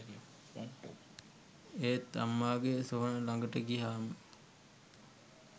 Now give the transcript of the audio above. ඒත් අම්මගේ සොහොන ලඟට ගියහම